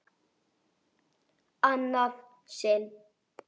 Annað sinn?